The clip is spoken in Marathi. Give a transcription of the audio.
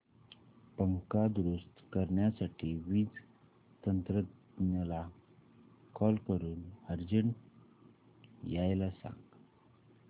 पंखा दुरुस्त करण्यासाठी वीज तंत्रज्ञला कॉल करून अर्जंट यायला सांग